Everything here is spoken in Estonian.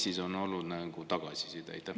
Mis on olnud tagasiside?